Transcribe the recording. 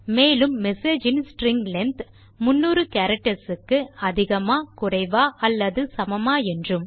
மேலும் messageஇன் string length 300 characters க்கு அதிகமா குறைவா அல்லது சமமா என்றும்